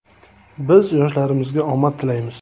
Biz yoshlarimizga omad tilaymiz.